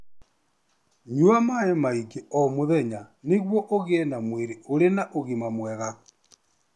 Nyua maĩ maingĩ o mũthenya nĩguo ũgĩe na mwĩrĩ ũrĩ na ũgima mwega.